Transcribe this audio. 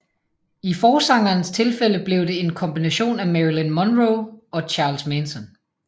I forsangerens tilfælde blev det en kombination af Marilyn Monroe og Charles Manson